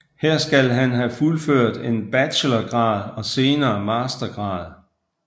Her skal han have fuldført en bachelorgrad og senere mastergrad